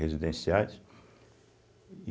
Residenciais.